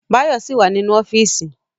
Báyọ̀ ṣì wà nínú ọ́fíìsì